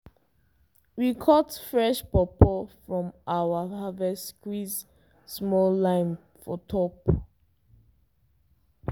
we cut fresh pawpaw from our first harvest squeeze small lime for top.